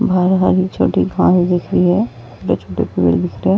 बाहर छोटी घास दिख रही है। दो छोटे पेड़ दिख रहे।